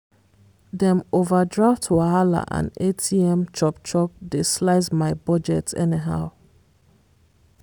dem overdraft wahala and atm chop-chop dey slice my budget anyhow.